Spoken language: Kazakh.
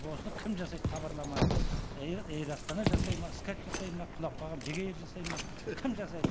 осыны кім жасайды хабарламаны эйр астана жасайды ма скат жасайды ма құлап қалған бек эйр жасайды ма кім жасайды